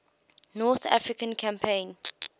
north african campaign